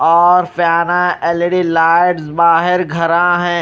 और फियाना L E D lights बाहर घरा हैं।